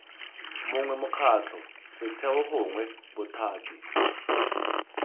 mongwe mokgatlho setheo gongwe bothati